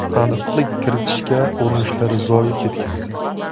Aniqlik kiritishga urinishlari zoye ketgan.